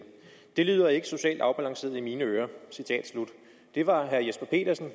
det lyder ikke socialt afbalanceret i mine ører det var herre jesper petersen